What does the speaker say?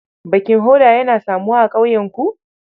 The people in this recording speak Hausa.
Baking hoda yana samuwa a ƙauyenku?